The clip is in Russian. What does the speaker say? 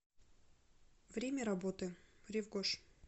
время работы рив гош